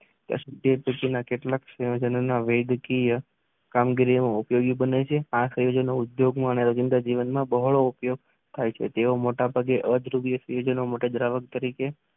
તે પછીના કેટલાક સંયોજનોના વૈગિકીય કામગીરીમાં ઉપયોગી પણ આ સંયોજનો ઉપયોગમાં હાઇડ્રોજન જીવનમાં ઉપયોગ થાય છે. તેવા મોટા પગે અદ્રવ્યો મુખ્ય દ્રાવક તરીકે